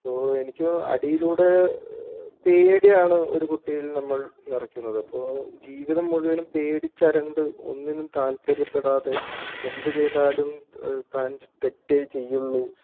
ഇപ്പോൾ എനിക്ക് തോ അടിയിലൂടെ പേടിയാണ് ഒരു കുട്ടിയിൽ നമ്മൾ നിറക്കുന്നത് അപ്പോ ജീവിതം മുഴുവനും പേടിച്ചരണ്ട് ഒന്നിനും താല്പര്യപ്പെടാതെ എന്തു ചെയ്താലും ഏഹ് താൻ തെറ്റേചെയ്യുകയുള്ളൂ